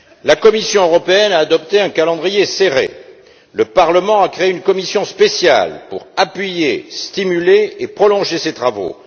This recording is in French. La Commission européenne a adopté un calendrier serré et le Parlement a créé une commission spéciale pour appuyer, stimuler et prolonger ses travaux.